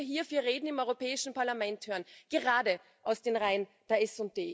Was würden wir hier für Reden im Europäischen Parlament hören, gerade aus den Reihen der SD.